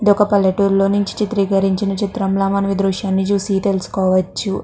ఇది ఒక పల్లెటూరు లో నుంచి చిత్రకరించిన చిత్రం ల మనం ఈ దృశ్యాన్ని చూసి తెలుసుకోవచ్చు.